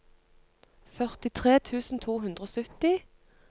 førtitre tusen to hundre og sytti